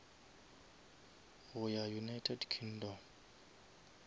go ya united kingdom